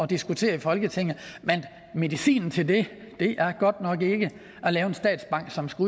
diskutere i folketinget men medicinen til det er godt nok ikke at lave en statsbank som skal